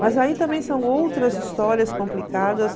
Mas aí também são outras histórias complicadas.